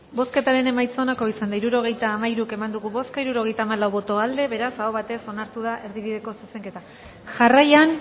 bozketaren emaitza onako izan da hirurogeita hamalau eman dugu bozka hirurogeita hamalau boto aldekoa beraz aho batez onartu da erdibideko zuzenketa jarraian